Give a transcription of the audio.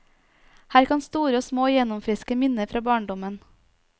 Her kan store og små gjenoppfriske minner fra barndommen.